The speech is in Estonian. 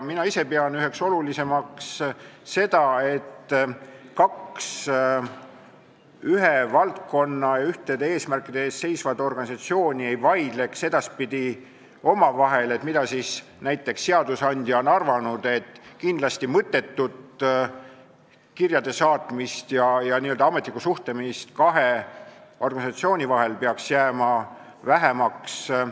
Mina ise pean üheks olulisemaks asjaks seda, et kaks ühe valdkonna ja ühtede eesmärkide eest seisvat organisatsiooni ei vaidleks edaspidi omavahel, et mida seadusandja on näiteks arvanud, ja mõttetut kirjade saatmist ja n-ö ametlikku suhtlemist kahe organisatsiooni vahel peaks jääma vähemaks.